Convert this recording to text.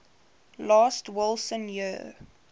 last wilson year